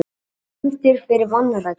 Dæmdir fyrir vanrækslu